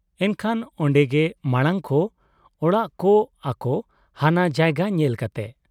ᱮᱱᱠᱷᱟᱱ ᱚᱱᱰᱮ ᱜᱮ ᱢᱟᱢᱟᱝ ᱠᱚ ᱚᱲᱟᱜ ᱠᱚ ᱟᱠᱚ ᱦᱟᱱᱟ ᱡᱟᱭᱜᱟ ᱧᱮᱞ ᱠᱟᱛᱮ ᱾